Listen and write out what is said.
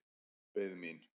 Beið mín.